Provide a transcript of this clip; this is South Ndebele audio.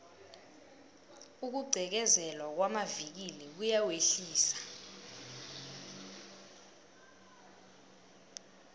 ukugqekezelwa kwamavikili kuyawehlisa